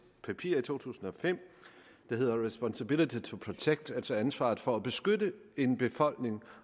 papir i to tusind og fem der hedder responsibility to protect altså ansvaret for at beskytte en befolkning